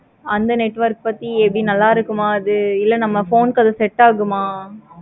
அந்த network பத்தி இது நல்ல இருக்குமா இலை நம்ம phone க்கு அது set ஆகுமா?